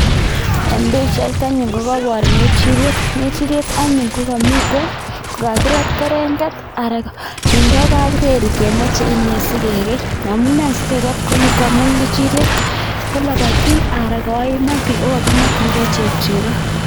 En bichait anyun ngechirek anyun komamiten kokarit kerenget ak kindo kapreri kemache inei sigegeingamun ngechirek kolabatin okakimakingei cheko